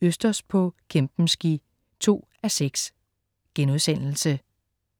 Østers på Kempenski 2:6*